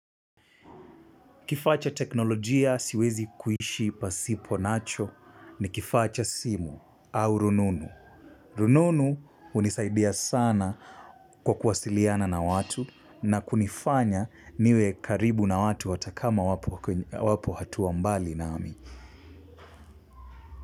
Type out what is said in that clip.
Kifaa cha teknolojia siwezi kuishi pasipo nacho ni kifaa cha simu au rununu. Rununu hunisaidia sana kwa kuwasiliana na watu na kunifanya niwe karibu na watu hata kama wapo hatua mbali nami.